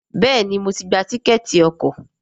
Béèni mo tí gbà Tíkẹ́ẹ̀tì ọkọ̀.